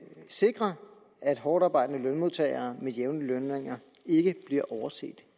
sikre at hårdtarbejdende lønmodtagere med jævne lønninger ikke bliver overset